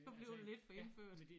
Du blevet lidt for indfødt